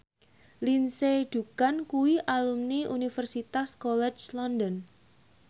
Lindsay Ducan kuwi alumni Universitas College London